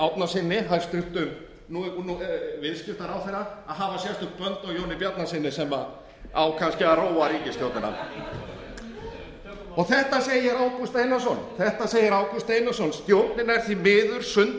árnasyni hæstvirtur viðskiptaráðherra að hafa sérstök bönd á jóni bjarnasyni sem á kannski að róa ríkisstjórnina þetta segir ágúst einarsson stjórnin er því miður